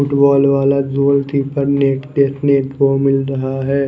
Football वाला goalkeeper देखने को मिल रहा है।